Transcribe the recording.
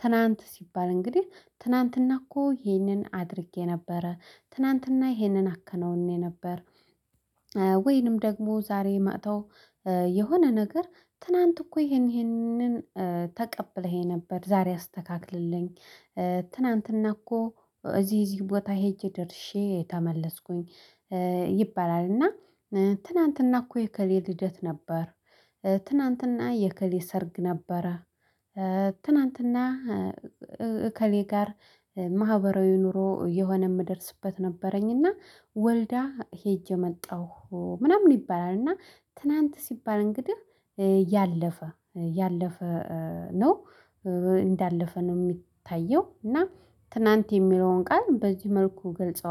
ትናንት ሲባል እንግዲህ ትናንትና እኮ ይህንን አድርጌ ነበረ ትናንትና ይህንን አከናውኜ ነበር። ወይንም ደግሞ ዛሬ መጥተው የሆነ ነገር ትናንት እኮ ይሄንን ተቀብለኸኝ ነበር ዛሬ አስተካክልልኝ። ትናንትና እኮ እዚህ እዚህ ቦታ ሄጄ ደርሼ ተመለስኩኝ ይባላል። እና ትናንትና እኮ የእከሌ ልደት ነበር። ትናንትና የእከሌ ሰርግ ነበረ። ትናንትና እከሌ ጋር ማህበራዊ ኑሮ የሆነ እምደርስበት ነበረኝና ወልዳ ሄጄ መጣሁ ምናምን ይባላልና። ትናንት ሲባል እንግዲህ ያለፈ ያለፈ ነው። እንዳለፈ ነው እሚታየው እና ትናንት የሚለውን ቃል በዚህ መልኩ ገልጸዋል